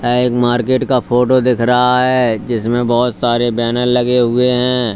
यह एक मार्केट का फोटो दिख रहा है जिसमें बहुत सारे बैनर लगे हुए हैं।